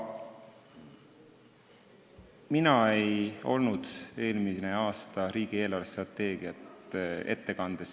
Mina ei olnud eelmisel aastal riigi eelarvestrateegiat siin saalis ette kandmas.